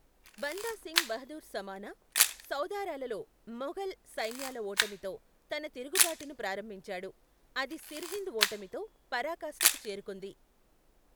బందా సింగ్ బహదూర్ సమనా, సధౌరాలలో మొఘల్ సైన్యాల ఓటమితో తన తిరుగుబాటును ప్రారంభించాడు, అది సిర్హింద్ ఓటమితో పరాకాష్టకు చేరుకుంది.